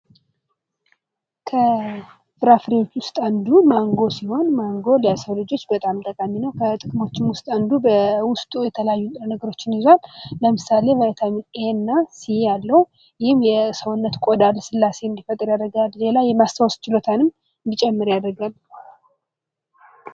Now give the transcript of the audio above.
ከፍራፍሬዎች ውስጥ አንዱ ማንጎ ሲሆን ማንጎ ለሰው ልጆች በጣም ጠቃሚ ነው ። ከጥቅሞቹም ውስጥ አንዱ በውስጡ የተለያዩ ንጥረነገሮችን ይዟል ። ለምሳሌ ቫይታሚን ኤ እና ሲ አለው ። ይህም የሰውነት ቆዳ ልስላሴ እንዲፈጠር ያደርጋል ሌላ የማስታወስ ችሎታንም እንዲጨምር ያደርጋል ።